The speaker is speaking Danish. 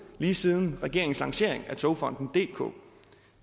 lige siden regeringens lancering af togfonden dk